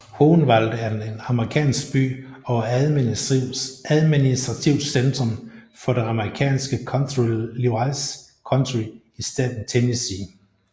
Hohenwald er en amerikansk by og administrativt centrum for det amerikanske county Lewis County i staten Tennessee